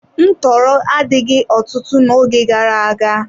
Ntọọrọ adịghị ọtụtụ n'oge gara aga.